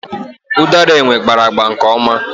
Osisi ụdara enwe gbara agba nkeoma.